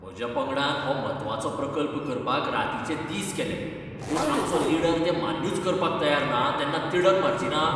म्हज्या पंगडान हो म्हत्वाचो प्रकल्प करपाक रातीचे दीस केले, पूण आमचो लीडर तें मान्यूच करपाक तयार ना तेन्ना तिडक मारचिना?